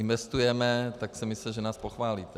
Investujeme, tak jsem myslel, že nás pochválíte.